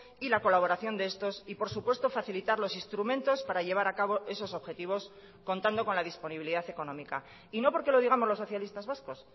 y la colaboración de estos y por supuesto facilitar los instrumentos para llevar a cabo esos objetivos contando con la disponibilidad económica y no porque lo digamos los socialistas vascos